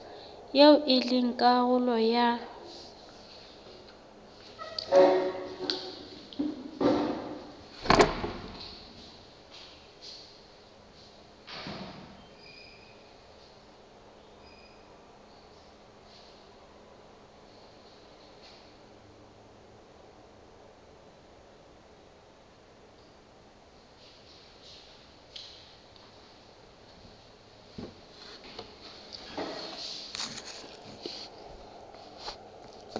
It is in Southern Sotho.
eo e leng karolo ya